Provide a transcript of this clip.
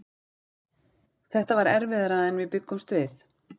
Þetta var erfiðara en við bjuggumst við.